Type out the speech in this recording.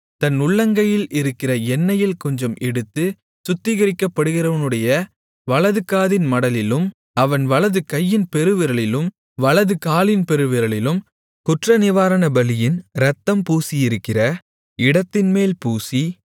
தன் உள்ளங்கையில் இருக்கிற எண்ணெயில் கொஞ்சம் எடுத்துச் சுத்திகரிக்கப்படுகிறவனுடைய வலதுகாதின் மடலிலும் அவன் வலதுகையின் பெருவிரலிலும் வலதுகாலின் பெருவிரலிலும் குற்றநிவாரணபலியின் இரத்தம் பூசியிருக்கிற இடத்தின்மேல் பூசி